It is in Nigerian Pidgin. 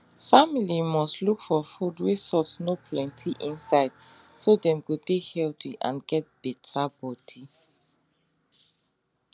family must look for food wey salt no plenty inside so dem go dey healthy and get better body